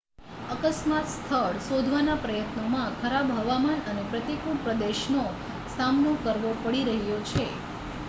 અકસ્માત સ્થળ શોધવાના પ્રયત્નોમાં ખરાબ હવામાન અને પ્રતિકૂળ પ્રદેશનો સામનો કરવો પડી રહ્યો છે